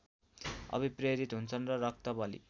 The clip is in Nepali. अभिप्रेरित हुन्छन् र रक्तबलि